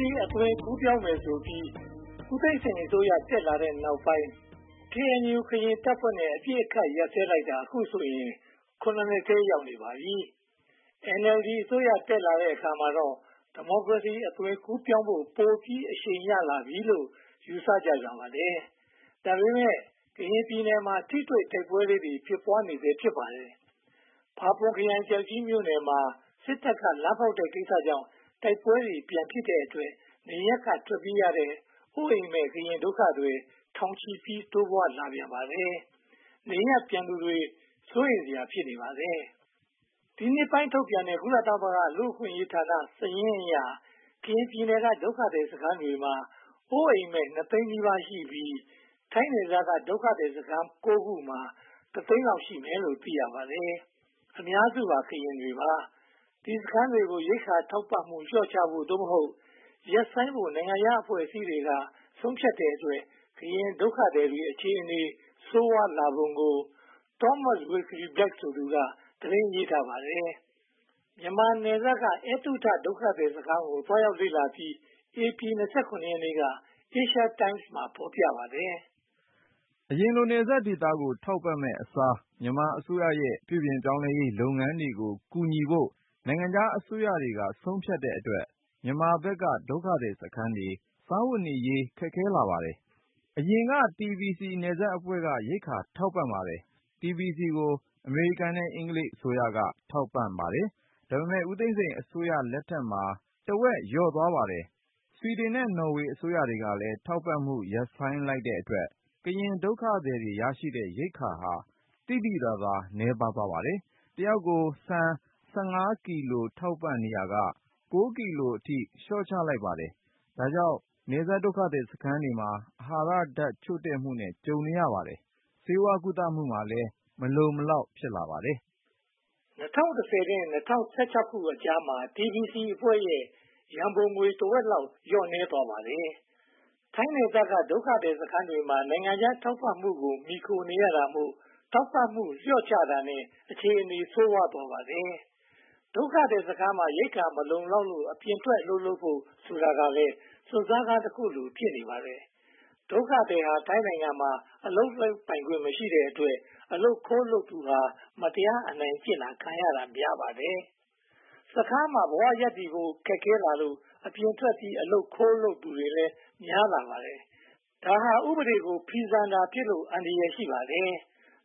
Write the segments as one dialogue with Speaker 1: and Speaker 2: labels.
Speaker 1: စီ အသွင်ကူးပြောင်းမယ်ဆိုပြီး ဦးသိန်းစိန်အစိုးရ တက်လာပြီးနောက်ပိုင်းမှာ ကရင်တပ်ဖွဲ့နဲ့ အပစ်အခတ်ရပ်စဲလိုက်တာ အခုဆိုရင် (၇) နှစ်ထဲ ရောက်ရှိနေပါပြီ။ NLD အစိုးရ တက်လာတဲ့အချိန်မှာတော့ ဒီမိုကရေစီ အသွင်ကူးပြောင်းဖို့ ပိုပြီးအရှိန်ရလာပြီလို့ ယူဆကြပြန်ပါတယ်။ ဒါပေမဲ့ ကရင်ပြည်နယ်မှာ ထိတွေ့တိုက်ပွဲလေးတွေ ဖြစ်ပွားနေဆဲ ဖြစ်ပါတယ်။ ဖာပွန်ခရိုင်၊ ကျောက်ကြီးမြို့နယ်မှာ စစ်တပ်က လမ်းဖောက်တဲ့ကိစ္စကြောင့် တိုက်ပွဲတွေ ဖြစ်ပြန်တဲ့အတွက် နေရပ်က ထွက်ပြေးရတဲ့ အိုးအိမ်မဲ့ ကရင်ဒုက္ခသည်တွေ ထောင်ချီပြီး တိုးပွားလာပြန်ပါတယ်။ နေရပ်ပြန်မယ့်သူတွေ စိုးရိမ်စရာ ဖြစ်နေပါတယ်။ ဒီနှစ်ဆန်းပိုင်း ထုတ်ပြန်တဲ့ ကုလသမဂ္ဂ လူ့အခွင့်အရေးဌာန စာရင်းအရ ကရင်ပြည်နယ်က ဒုက္ခသည်စခန်းတွေမှာ အိုးအိမ်မဲ့ (၂) သိန်းနီးပါးရှိပြီး၊ ထိုင်းနယ်စပ်က ဒုက္ခသည်စခန်း (၉) ခုမှာတော့ တစ်သိန်းလောက် ရှိမယ်လို့ သိရပါတယ်။ အများစုက ကရင်လူမျိုးတွေ ဖြစ်ပါတယ်။ ဒီစခန်းတွေကို ရိက္ခာထောက်ပံ့မှု လျော့ချဖို့ (သို့မဟုတ်) ရပ်ဆိုင်းဖို့ နိုင်ငံခြားအဖွဲ့အစည်းတွေက ဆုံးဖြတ်တဲ့အတွက် ကရင်ဒုက္ခသည်တွေ အခြေအနေ ဆိုးဝါးလာပုံကို Thomas Wilkie-Black ဆိုသူ သတင်းရေးထားပါတယ်။ မြန်မာနယ်စပ်က ‘အဲတုထ’ ဒုက္ခသည်စခန်းကို သွားရောက်လေ့လာပြီး ဧပြီလ (၂၇) ရက်က Asia Times မှာ ဖော်ပြထားပါတယ်
Speaker 2: ။ အရင်လို နယ်စပ်ဒေသတွေကို ထောက်ပံ့မယ့်အစား မြန်မာအစိုးရရဲ့ ပြုပြင်ရေးလုပ်ငန်းတွေကို ကူညီဖို့ နိုင်ငံခြားအစိုးရတွေက ဆုံးဖြတ်တဲ့အတွက် မြန်မာဘက်က ဒုက္ခသည်စခန်းတွေ စားဝတ်နေရေး ခက်ခဲလာပါတယ်။ အရင်ကတော့ TBC နယ်စပ်အဖွဲ့က ရိက္ခာထောက်ပံ့ပါတယ်။ TBC ကို အမေရိကန်နဲ့ အင်္ဂလိပ် အစိုးရတို့က ထောက်ပံ့ပါတယ်။ ဒါပေမဲ့ ဦးသိန်းစိန်အစိုးရလက်ထက်မှာ တဝက်လောက် လျော့သွားပါတယ်။ ဆွီဒင်နဲ့ နော်ဝေအစိုးရတို့ကလည်း ထောက်ပံ့မှုရပ်ဆိုင်းလိုက်တဲ့အတွက် ကရင်ဒုက္ခသည်တွေ ရရှိတဲ့ရိက္ခာဟာ သိသိသာသာ နည်းပါးသွားပါတယ်။ တယောက်ကို ဆန် (၁၅) ကီလို ထောက်ပံ့နေရာက (၉) ကီလိုအထိ လျှော့ချလိုက်ပါတယ်။ ဒါကြောင့် နယ်စပ်ဒုက္ခသည်စခန်းတွေမှာ အာဟာရဓါတ်ချို့တဲ့မှုနဲ့ တွေ့ကြုံနေရပါတယ်။ ဆေးဝါးကုသမှုမှာလည်း မလုံမလောက် ဖြစ်လာပါတယ်။ ၂
Speaker 1: ၀၁၀ နဲ့ ၂၀၁၆ ခုနှစ်ကြားမှာ TBC အဖွဲ့ရဲ့ ရန်ပုံငွေ တဝက်လောက် လျော့နည်းသွားပါတယ်။ ထိုင်းနယ်စပ်က ဒုက္ခသည်စခန်းတွေမှာ နိုင်ငံခြားထောက်ပံ့မှုကို မှီခိုနေရတာမို့ ထောက်ပံ့မှု လျော့ချတာနဲ့ အခြေအနေ ဆိုးဝါးသွားပါတယ်။ ဒုက္ခသည်စခန်းမှာ ရိက္ခာမလုံလောက်လို့ အပြင်ဘက်ထွက် အလုပ်လုပ်ဖို့ဆိုတာကလည်း စွန့်စားခန်းတခုလို ဖြစ်နေပါတယ်။ ဒုက္ခသည်ဟာ ထိုင်းနိုင်ငံမှာ အလုပ်လုပ်ခွင့်မရှိတဲ့အတွက် အလုပ်ခိုးလုပ်သူဟာ မတရားအနိုင်ကျင့်ခံရတာ များပါတယ်။ စခန်းထဲမှာ ဘဝရပ်တည်ဖို့ ခက်ခဲလာလို့ အပြင်ထွက်ပြီး အလုပ်ခိုးလုပ်သူတွေ များလာပါတယ်။ ဒါဟာ ဥပဒေကို ဖီဆန်တာဖြစ်လို့ အန္တရာယ် ရှိပါတယ်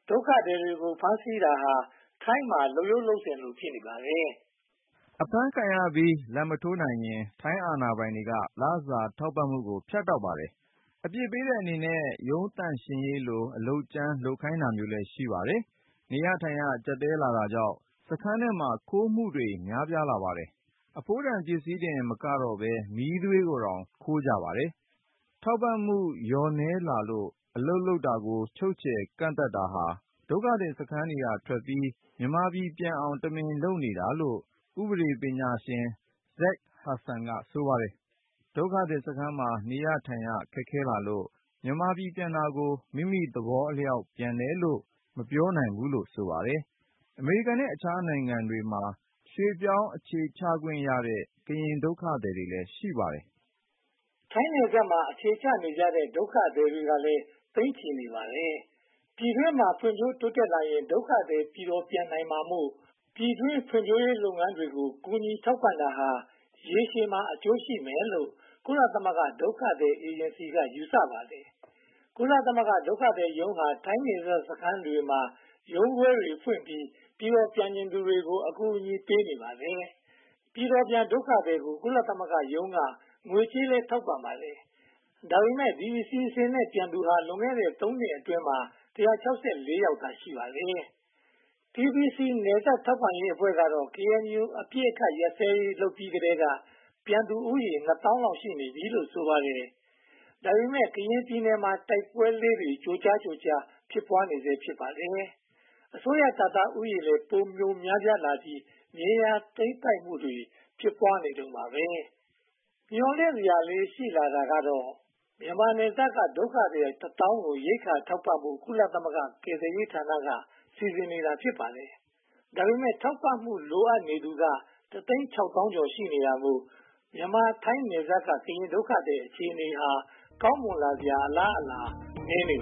Speaker 1: ။ ဒုက္ခသည်တွေကို ဖမ်းဆီးတာဟာ ထိုင်းနိုင်ငံမှာ လုပ်ရိုးလုပ်စဉ်လို ဖြစ်နေပါတယ်
Speaker 2: ။ အဖမ်းခံရပြီး လာဘ်မထိုးနိုင်ရင် ထိုင်းအာဏာပိုင်တွေက လစာထောက်ပံ့မှုကို ဖြတ်တောက်ပါတယ်။ အပြစ်ပေးတဲ့အနေနဲ့ ရုံးသန့်ရှင်းရေးကို အလုပ်ကြမ်းခိုင်းတာမျိုးလည်း ရှိပါတယ်။ နေရထိုင်ရ ကျပ်တည်းလာတာကြောင့် စခန်းထဲမှာ ခိုးမှုတွေလည်း များပြားလာပါတယ်။ အဖိုးတန်ပစ္စည်းတင်မကတော့ဘဲ မီးသွေးကိုတောင် ခိုးကြတယ်လို့ ဆိုပါတယ်။ ထောက်ပံ့မှုလျော့နည်းလာလို့ အလုပ်လုပ်တာကို ချုပ်ချယ်ကန့်သတ်တာဟာ ဒုက္ခသည်စခန်းကထွက်ပြီး မြန်မာပြည်ပြန်အောင် တမင်လုပ်နေတာလို့ ဥပဒေပညာရှင် Zach Hudson က ဆိုပါတယ်။ ဒုက္ခသည်စခန်းမှာ နေရထိုင်ရ ခက်ခဲလာလို့ မြန်မာပြည်ပြန်တာကို မိမိသဘောအလျောက် ပြန်တယ်လို့ မပြောနိုင်ဘူးလို့ ဆိုပါတယ်။ အမေရိကန်နဲ့ အခြားနိုင်ငံတွေမှာ ရွှေ့ပြောင်းအခြေစိုက်ခွင့်ရတဲ့ ကရင်ဒုက္ခသည်တွေလည်း ရှိပါတယ်
Speaker 1: ။ ထိုင်းနယ်စပ်မှာ အခြေချနေကြတဲ့ ဒုက္ခသည်တွေကလည်း သိန်းချီရှိနေပါတယ်။ ပြည်တွင်းမှာ ဖွံ့ဖြိုးတိုးတက်လာရင် ဒုက္ခသည်တွေ ပြည်တော်ပြန်နိုင်တာမို့ ပြည်တွင်းဖွံ့ဖြိုးရေးလုပ်ငန်းတွေကို ကူညီထောက်ပံ့တာဟာ ရေရှည်မှာ အကျိုးရှိမယ်လို့ ကုလသမဂ္ဂ ဒုက္ခသည်အေဂျင်စီက ယူဆပါတယ်။ ကုလသမဂ္ဂဒုက္ခသည်ရုံးဟာ ထိုင်းနယ်စပ်ဒုက္ခသည်စခန်းတွေမှာ ရုံးခွဲတွေဖွင့်ပြီး ပြည်တော်ပြန်ချင်သူတွေကို အကူအညီပေးနေပါတယ်။ ပြည်တော်ပြန်ဒုက္ခသည်တွေကို ကုလသမဂ္ဂရုံးက ငွေကြေးကလည်း ထောက်ပံ့ပါတယ်။ ဒါပေမဲ့ ဒီအစီအစဉ်နဲ့ ပြန်သူတွေဟာ လွန်ခဲ့တဲ့ သုံးနှစ်အတွင်းမှာ (၁၆၄) ယောက်သာ ရှိပါတယ်။ TBC နယ်စပ်ဒေသ ထောက်ပံ့ရေးအဖွဲ့ကတော့ KNU အပစ်အခတ်ရပ်စဲရေးလုပ်ပြီးကတည်းက ပြန်သူဦးရေ (၂) သောင်းလောက်ရှိပြီလို့ ဆိုပါတယ်။ ဒါပေမဲ့ ကရင်ပြည်နယ်မှာ တိုက်ပွဲလေးတွေ ကြိုးကြားကြိုးကြား ဖြစ်ပွားနေတုန်းပါ။ မျှော်လင့်စရာလေးတွေ ရှိလာတာကတော့ မြန်မာနယ်စပ်က ဒုက္ခသည် တစ်သောင်းကို ရိက္ခာထောက်ပံ့ဖို့ ကုလသမဂ္ဂကယ်ဆယ်ရေးဌာနက စီစဉ်နေတာ ဖြစ်ပါတယ်။ ဒါပေမဲ့ ထောက်ပံ့မှု လိုအပ်နေသူတွေက တစ်သိန်းခြောက်သောင်းနှစ်ထောင် ရှိနေတာမို့ မြန်မာ-ထိုင်းနယ်စပ်က ကရင်ဒုက္ခသည် အခြေအနေဟာ ကောင်းမွန်လာစရာ အလားအလာ နည်းနေပါ